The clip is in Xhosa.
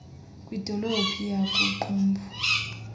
kwidolophu yaku qumbu